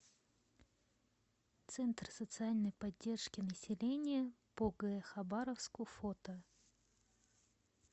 центр социальной поддержки населения по г хабаровску фото